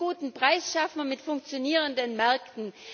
Und einen guten Preis schaffen wir mit funktionierenden Märkten.